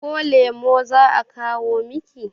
ko lemo za a kawo Miki?